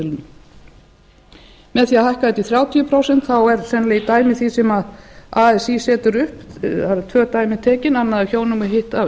að hækka þetta í þrjátíu prósent er sennilega í dæmi því sem así setur upp það eru tvö dæmi tekin annað af hjónum og hitt